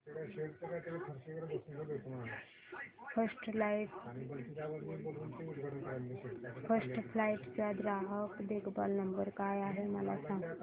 first flight चा ग्राहक देखभाल नंबर काय आहे मला सांग